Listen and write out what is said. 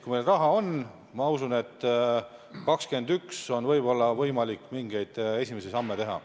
Kui meil raha on, siis ma usun, et 2021. aastal on võib-olla võimalik mingeid esimesi samme teha.